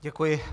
Děkuji.